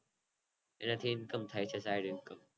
એ Think પણ થાય છે Direct